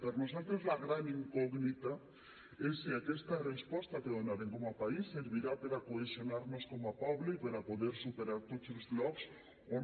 per nosaltres la gran incògnita és si aquesta resposta que donarem com a país servirà per a cohesionar nos com a poble i per a poder superar tots els blocs o no